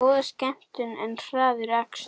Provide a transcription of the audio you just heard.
Góð skemmtun en hraður akstur